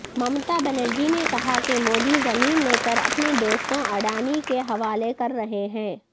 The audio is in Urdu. ممتابنرجی نے کہاکہ مودی زمین لے کر اپنے دوستوں اڈانی کے حوالہ کررہے ہیں